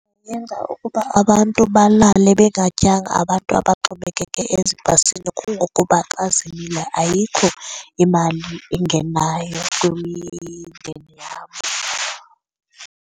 Yenza ukuba abantu balale bengatyanga abantu abaxhomekeke ezibhasini kungokuba xa zimile ayikho imali engenayo kwimindeni yawo.